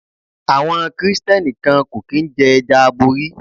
Àwọn Kristẹni kan kò kín ń jẹ́ ẹja aborí.